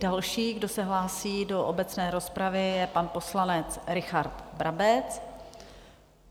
Další, kdo se hlásí do obecné rozpravy, je pan poslanec Richard Brabec.